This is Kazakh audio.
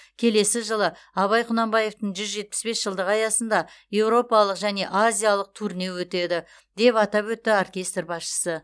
келесі жылы абай құнанбаевтың жүз жетпіс бес жылдығы аясында еуропалық және азиялық турне өтеді деп атап өтті оркестр басшысы